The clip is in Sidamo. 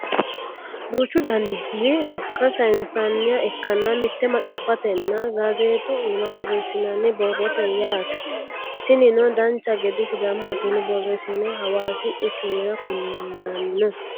duuchu daninni sokka sayeensanniha ikkanna mitte maxaaffatenna gazeexu iima borreessinanni borrooti yaate tinino dancha gede sidaamu afiinni borreessine hawaasi quchumire kulanno